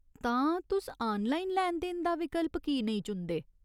तां, तुस आनलाइन लैन देन दा विकल्प की नेईं चुनदे ?